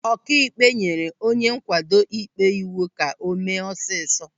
Ọkaikpe nyere onye nkwado ịkpe iwu ka o mee ọsịsọ.